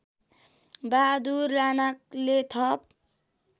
बहादुर राणाले थप